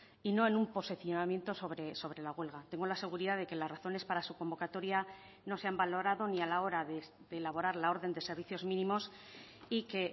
y no en un posicionamiento sobre la huelga tengo la seguridad de que las razones para su convocatoria no se han valorado ni a la hora de elaborar la orden de servicios mínimos y que